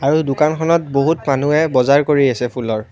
আৰু দোকানখনত বহুত মানুহে বজাৰ কৰি আছে ফুলৰ।